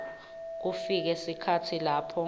kufike sikhatsi lapho